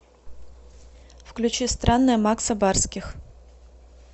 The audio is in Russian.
включи странная макса барских